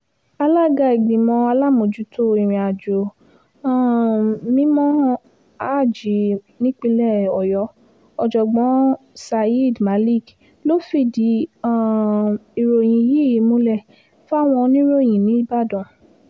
alága ìgbìmọ̀ alámòójútó ìrìnàjò um mímọ́ háàjì nípìnlẹ̀ ọ̀yọ́ ọ̀jọ̀gbọ́n sayed malik ló fìdí um ìròyìn yìí múlẹ̀ fáwọn oníròyìn nìbàdàn